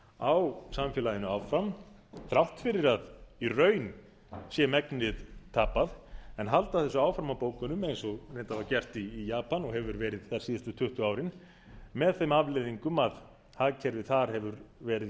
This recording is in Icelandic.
á samfélaginu áfram þrátt fyrir að í raun sé megnið tapað en halda þessu áfram á bókunum eins og reyndar var gert í japan og hefur verið gert síðustu tuttugu árin með þeim afleiðingum að hagkerfið þar hefur verið